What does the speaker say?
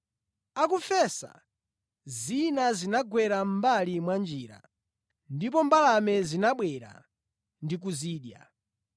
Akufesa, zina zinagwera mʼmbali mwa njira ndipo mbalame zinabwera ndi kuzidya.